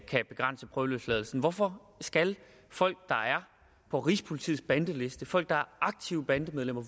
kan begrænse prøveløsladelsen hvorfor skal folk der er på rigspolitiets bandeliste folk der er aktive bandemedlemmer